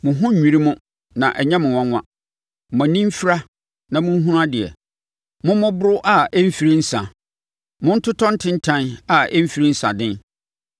Mo ho nnwiri mo na ɛnyɛ mo nwanwa, mo ani mfira a monhunu adeɛ; mommoboro a ɛmfiri nsã, montotɔ ntentan a ɛmfiri nsaden.